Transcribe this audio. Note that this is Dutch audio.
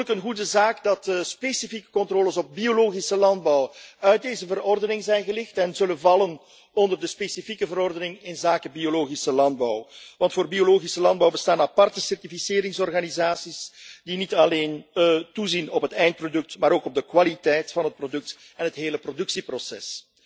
Ik vind het persoonlijk een goede zaak dat de specifieke controles op biologische landbouw uit deze verordening zijn gehaald en onder de specifieke verordening inzake biologische landbouw zullen vallen. Voor biologische landbouw bestaan namelijk aparte certificeringsorganisaties, die niet alleen toezien op het eindproduct maar ook op de kwaliteit van het product en het hele productieproces.